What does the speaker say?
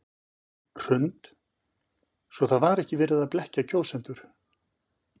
Hrund: Svo það var ekki verið að blekkja kjósendur?